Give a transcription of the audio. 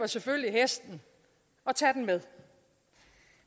selvfølgelig hesten og tager den med